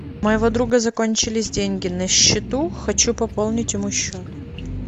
у моего друга закончились деньги на счету хочу пополнить ему счет